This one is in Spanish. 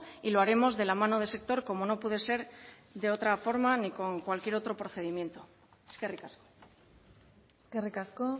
y lo haremos de la mano del sector como no puede ser de otra forma ni con cualquier otro procedimiento eskerrik asko eskerrik asko